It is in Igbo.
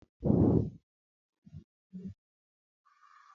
Ọkụ gbara ụlọ ọrụ osote onyeisi mahadum steeti Imo.